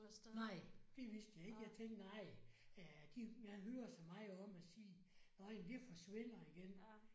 Nej det vidste jeg ikke. Jeg tænkte nej ja de jeg hører så meget om at sige nåh jamen det forsvinder igen